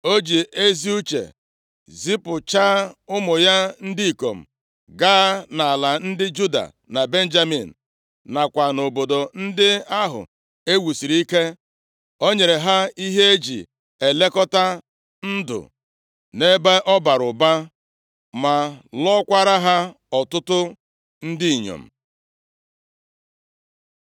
O ji ezi uche zipụchaa ụmụ ya ndị ikom gaa nʼala ndị Juda na Benjamin, nakwa nʼobodo ndị ahụ e wusiri ike. O nyere ha ihe e ji elekọta ndụ nʼebe ọ bara ụba ma lụọkwara ha ọtụtụ ndị inyom.